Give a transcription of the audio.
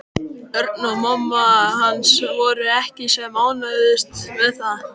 Örn og mamma hans voru ekki sem ánægðust með það.